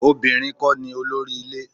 Obìnrin kọ́ ni olórí ilé.